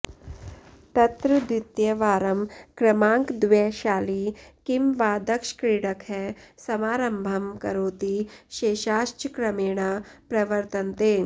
तत्र द्वितीयवारं क्रमाङ्कद्वयशाली किं वा दक्षक्रीडकः समारम्भं करोति शेषाश्च क्रमेणा प्रवर्तन्ते